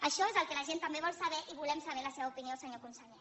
això és el que la gent també vol saber i volem saber la seva opinió senyor conseller